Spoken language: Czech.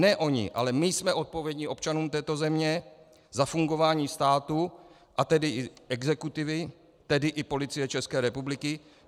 Ne oni, ale my jsme odpovědní občanům této země za fungování státu, a tedy i exekutivy, tedy i Policie České republiky.